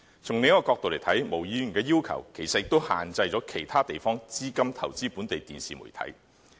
從另一個角度來看，毛議員的要求其實也限制了其他地方的資金投資本地電視媒體。